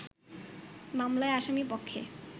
মামলায় আসামিপক্ষে